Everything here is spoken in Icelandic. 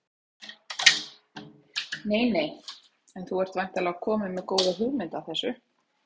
Nei nei En þú ert væntanlega kominn með góða hugmynd að þessu?